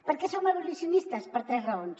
per què som abolicionistes per tres raons